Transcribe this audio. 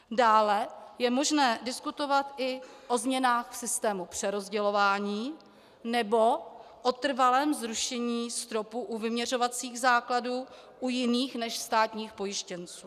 Dále je možné diskutovat i o změnách v systému přerozdělování nebo o trvalém zrušení stropu u vyměřovacích základů u jiných než státních pojištěnců.